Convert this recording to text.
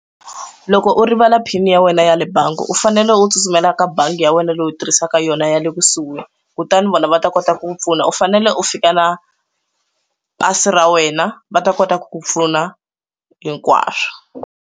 Loko u rivala phini ya wena ya le bangi u fanele u tsutsumela ka bangi ya wena leyi u tirhisaka yona ya le kusuhi kutani vona va ta kota ku pfuna u fanele u fika na pasi ra wena va ta kota ku ku pfuna hinkwaswo.